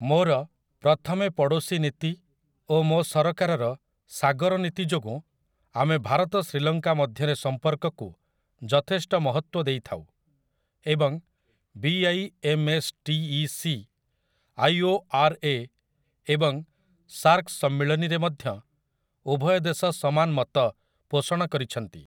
ମୋର 'ପ୍ରଥମେ ପଡ଼ୋଶୀ' ନୀତି ଓ ମୋ ସରକାରର 'ସାଗର ନୀତି' ଯୋଗୁଁ ଆମେ ଭାରତ ଶ୍ରୀଲଙ୍କା ମଧ୍ୟରେ ସମ୍ପର୍କକୁ ଯଥେଷ୍ଟ ମହତ୍ୱ ଦେଇଥାଉ, ଏବଂ 'B I M S T E C', 'I O R A' ଏବଂ 'ସାର୍କ' ସମ୍ମିଳନୀରେ ମଧ୍ୟ ଉଭୟ ଦେଶ ସମାନ ମତ ପୋଷଣ କରିଛନ୍ତି ।